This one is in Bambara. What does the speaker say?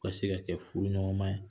Ka se ka kɛ furu ɲɔgɔnma ye